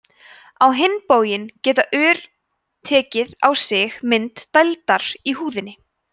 á hinn bóginn geta ör tekið á sig mynd dældar í húðinni